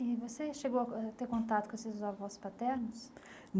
E você chegou a ter contato com esses avós paternos?